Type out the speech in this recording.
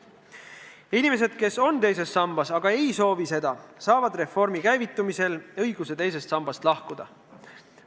Inimesed, kes on teises sambas, aga ei soovi seda, saavad reformi käivitumisel õiguse teisest sambast lahkuda.